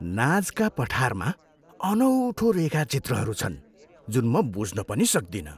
Nazca पठारमा अनौठो रेखाचित्रहरू छन् जुन म बुझ्न पनि सक्दिनँ!